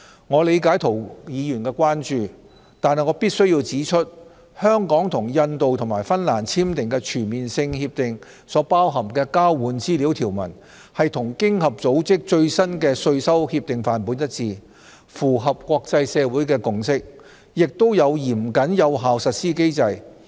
我理解涂議員的關注，但我必須指出，香港與印度及芬蘭簽訂的全面性協定所包含的交換資料條文，與經合組織最新的稅收協定範本一致，符合國際社會的共識，也有嚴謹有效的實施機制。